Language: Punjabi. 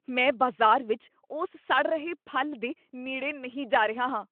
ਮੈਂ ਬਾਜ਼ਾਰ ਵਿੱਚ ਉਸ ਸੜ ਰਹੇ ਫ਼ਲ ਦੇ ਨੇੜੇ ਨਹੀਂ ਜਾ ਰਿਹਾ ਹਾਂ।